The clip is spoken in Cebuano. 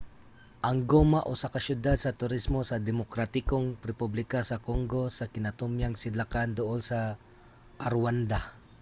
ang goma usa ka syudad sa turismo sa demokratikong republika sa congo sa kinatumyang sidlakan duol sa rwanda